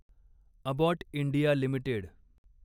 Abbott India limited